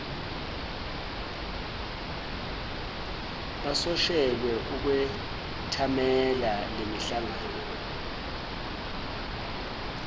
basoshelwe ukwethamela lemihlangano